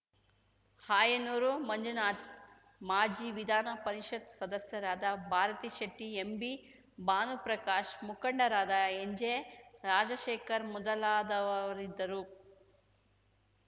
ಆಯನೂರು ಮಂಜುನಾಥ್‌ ಮಾಜಿ ವಿಧಾನಪರಿಷತ್‌ ಸದಸ್ಯರಾದ ಭಾರತಿಶೆಟ್ಟಿ ಎಂಬಿ ಭಾನುಪ್ರಕಾಶ್‌ ಮುಖಂಡರಾದ ಎನ್‌ಜೆ ರಾಜಶೇಖರ್‌ ಮೊದಲಾದವರಿದ್ದರು